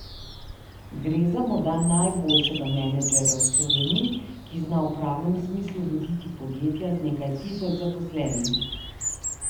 Gre za morda najboljšega menedžerja v Sloveniji, ki zna v pravem smislu voditi podjetja z nekaj tisoč zaposlenimi.